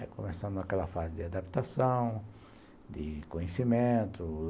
Aí começamos aquela fase de adaptação, de conhecimento.